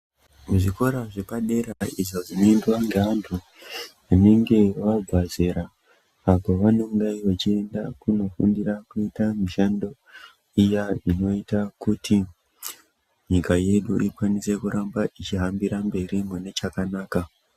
Muzvikora zvepadera izvo zvinoendwa ngevantu vanenge vabva zera apo vanonga vachienda kunofundirwa mishando iya inoita kuti nyika yedu ikwanise kuramba ichihambira mberi mune chakanaka.